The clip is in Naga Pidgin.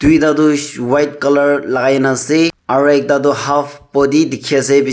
tuita white color lakai na ase aro ekta tu half body dekhe ase be --